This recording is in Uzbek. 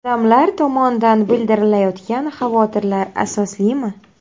Odamlar tomonidan bildirilayotgan xavotirlar asoslimi?